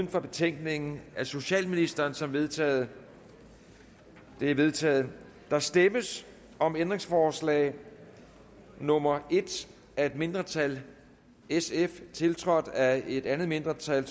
for betænkningen af socialministeren som vedtaget det er vedtaget der stemmes om ændringsforslag nummer en af et mindretal tiltrådt af et andet mindretal